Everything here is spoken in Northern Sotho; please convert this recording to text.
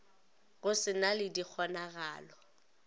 go se na le dikgonagalo